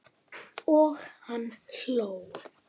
Og hann hló.